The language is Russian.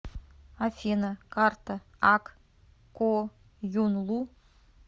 афина карта ак коюнлу